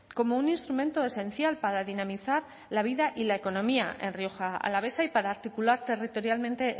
como un instrumento esencial para dinamizar la vida y la economía en rioja alavesa y para articular territorialmente